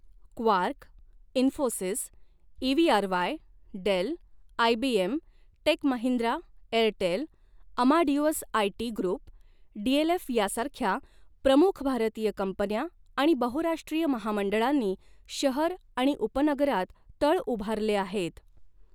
Quark, Infosys, ईवीआरवाय, del, IBN, टेकमहिंद्रा, Airtel, Amadeus IT group, DLF यासारख्या प्रमुख भारतीय कंपन्या आणि बहुराष्ट्रीय महामंडळांनी शहर आणि उपनगरात तळ उभारले आहेत.